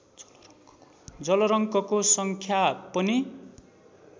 जलरङ्कको सङ्ख्या पनि